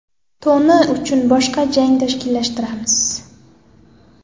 Toni uchun boshqa jang tashkillashtiramiz.